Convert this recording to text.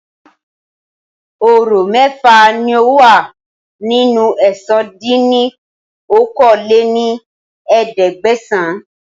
Ọ̀rọ̀ mẹ́fà ni ó wà nínú ẹ̀sán dín ní okòó-lé-ní-ẹ̀ẹ́dẹ́gbẹ́sán